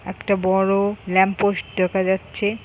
একটা বড় ল্যাম্প-পোস্ট দেখা যাচ্ছে ।